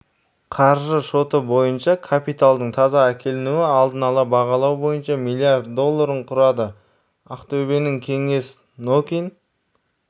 қаржы шоты бойынша капиталдың таза әкелінуі алдын ала бағалау бойынша млрд долларын құрады ақтөбенің кеңес нокин